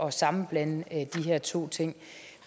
at sammenblande de her to ting